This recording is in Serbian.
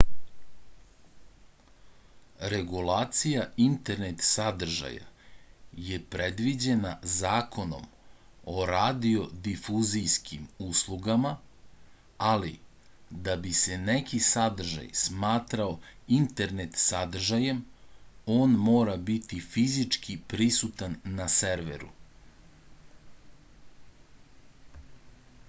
regulacija internet sadržaja je predviđena zakonom o radiodifuzijskim uslugama ali da bi se neki sadržaj smatrao internet sadržajem on mora biti fizički prisutan na serveru